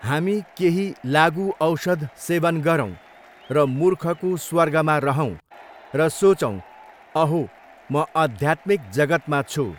हामी केही लागुऔषध सेवन गरौँ र मुर्खको स्वर्गमा रहौँ र सोचौ अहो म अध्यात्मिक जगतमा छु।